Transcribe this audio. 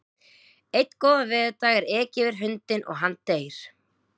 Einn góðan veðurdag er ekið yfir hundinn og hann deyr.